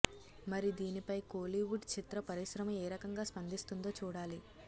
మరి దీనిపై కోలీవుడ్ చిత్ర పరిశ్రమ ఏ రకంగా స్పందిస్తుందో చూడాలి